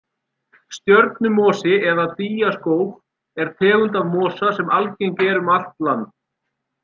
Stjörnumosi eða dýjaskóf er tegund af mosa sem algeng er um allt land.